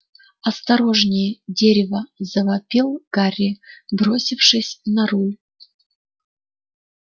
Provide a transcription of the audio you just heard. осторожнее дерево завопил гарри бросившись в нору